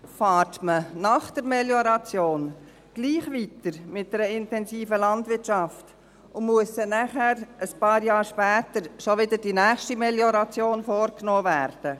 Fährt man nach der Melioration gleich weiter mit einer intensiven Landwirtschaft, und muss nachher ein paar Jahre später wieder die gleiche Melioration vorgenommen werden?